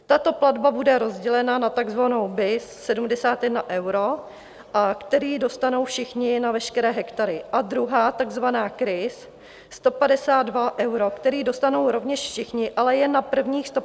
Tato platba bude rozdělena na tzv. BIS 71 euro, kterou dostanou všichni na veškeré hektary, a druhá tzv. KRIS 152 euro, kterou dostanou rovněž všichni, ale jen na prvních 150 hektarů.